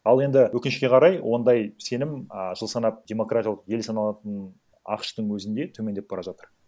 ал енді өкінішке қарай ондай сенім а жыл санап демократиялық ел саналатын ақш тың өзінде төмендеп бара жатыр